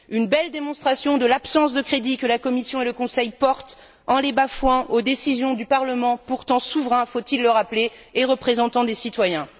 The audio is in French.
Une belle démonstration de l'absence de crédit que la Commission et le Conseil portent, en les bafouant, aux décisions du Parlement, pourtant souverain faut il le rappeler et représentant les citoyens.